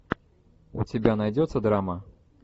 у тебя найдется драма